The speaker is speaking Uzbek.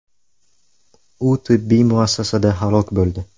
U tibbiy muassasada halok bo‘ldi.